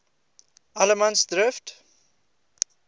allemansdrift